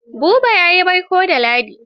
Habu ya yi baiko da Ladi.